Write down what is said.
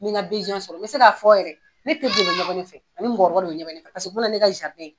N bɛ n ka sɔrɔ n bɛ se k'a fɔ yɛrɛ ne teri de bɛ ɲɛbɔ ne fɛ ani mɔgɔ kɔrɔba de bɛ ɲɛbɔ ne fɛ paseke o bɛ na ne ka